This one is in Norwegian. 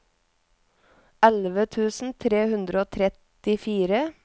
elleve tusen tre hundre og trettifire